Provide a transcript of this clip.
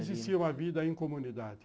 Existia uma vida em comunidade.